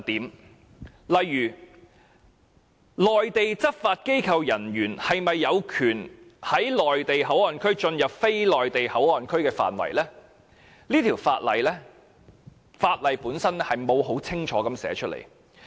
舉例而言，關於內地執法機構的人員是否有權從內地口岸區進入非內地口岸區範圍的問題，《條例草案》並沒有清楚說明。